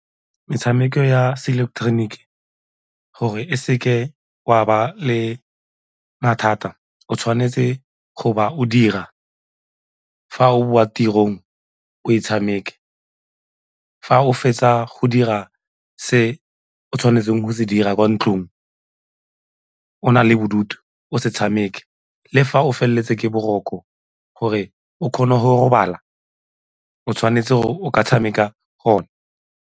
Metshameko ya seileketeroniki gore e seke wa ba le mathata o tshwanetse go ba o dira, fa o boa tirong o e tshameke, fa o fetsa go dira se o tshwanetseng go se dira kwa ntlong o na le bodutu o se tshameke le fa o feleletse ke boroko gore o kgone go robala o tshwanetse gore o ka tshameka go one.